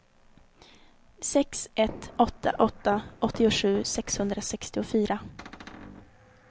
sex ett åtta åtta åttiosju sexhundrasextiofyra